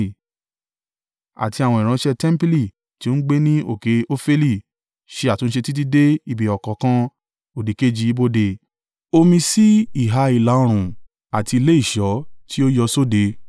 àti àwọn ìránṣẹ́ tẹmpili tí ó ń gbé ní òkè Ofeli ṣe àtúnṣe títí dé ibi ọ̀kánkán òdìkejì ibodè omi sí ìhà ìlà-oòrùn àti ilé ìṣọ́ tí ó yọ sóde.